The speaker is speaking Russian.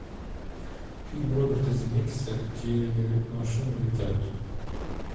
фильм роберта земекиса где машины летают